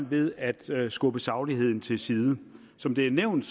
ved at skubbe sagligheden til side som det er nævnt